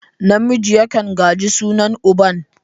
Namiji yakan gaji sunan uban.